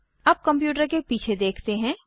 अब कंप्यूटर के पीछे देखते हैं